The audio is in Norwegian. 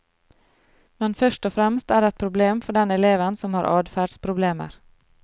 Men først og fremst er det et problem for den eleven som har adferdsproblemer.